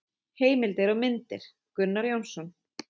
Heimildir og myndir: Gunnar Jónsson.